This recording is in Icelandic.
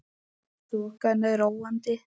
Þokan er róandi